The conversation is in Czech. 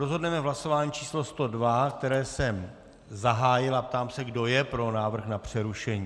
Rozhodneme v hlasování číslo 102, které jsem zahájil, a ptám se, kdo je pro návrh na přerušení.